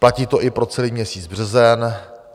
Platí to i pro celý měsíc březen.